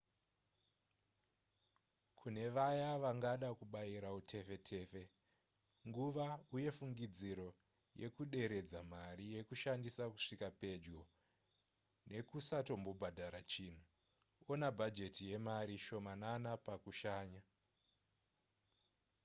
kune vaya vangada kubayira utefetefe nguva uye fungidziro yekuderedza mari yekushandisa kusvika pedyo nekusatombobhadhara chinhu ona bhajeti yemari shomanana pakushanya